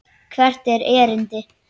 Hvert er erindi?